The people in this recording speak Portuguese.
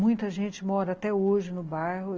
Muita gente mora até hoje no bairro.